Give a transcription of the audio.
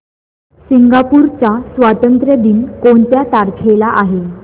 Singapore चा स्वातंत्र्य दिन कोणत्या तारखेला आहे